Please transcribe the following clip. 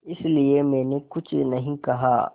इसलिए मैंने कुछ नहीं कहा